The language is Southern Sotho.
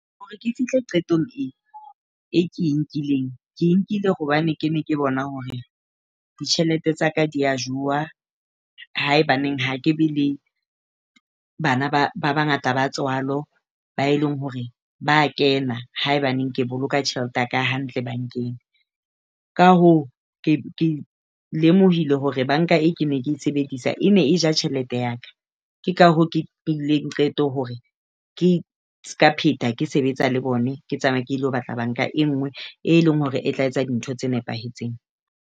Hore ke fihle qetong e ke e nkileng, ke nkile hobane ke ne ke bona hore ditjhelete tsa ka di a jowa haebaneng ha ke be le bana ba bangata ba tswalo, bao e leng hore ba kena haebaneng ke boloka tjhelete ya ka hantle bankeng. Ka hoo, ke lemohile hore banka e ke ne ke e sebedisa e ne e ja tjhelete ya ka. Ke ka hoo ke nkileng qeto hore ke seka pheta ke sebetsa le bona. Ke tsamaya ke ilo batla banka e nngwe e leng hore e tla etsa dintho tse nepahetseng.